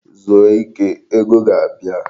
Zuo ike! Ego ga-abia.